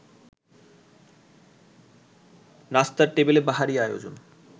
নাস্তার টেবিলে বাহারী আয়োজন